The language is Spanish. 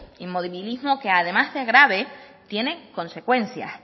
inmovilismo que además de grave tiene consecuencias